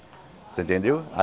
Você entendeu? Aí